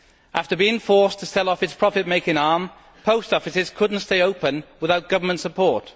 After being forced to sell off their profit making arm, post offices could not stay open without government support.